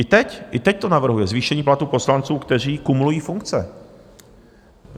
I teď, i teď to navrhuje, zvýšení platů poslanců, kteří kumulují funkce.